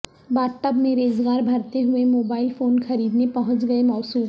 bath tub میں ریزگار بھرتے ہوئے موبائل فون خریدنے پہنچ گئے موصوف